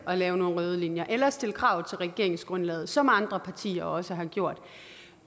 at lave nogle røde linjer eller at stille krav til regeringsgrundlaget som andre partier også har gjort og